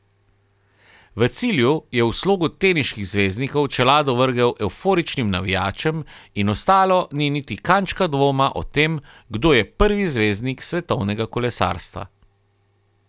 V cilju je v slogu teniških zvezdnikov čelado vrgel evforičnim navijačem in ostalo ni niti kančka dvoma o tem, kdo je prvi zvezdnik svetovnega kolesarstva.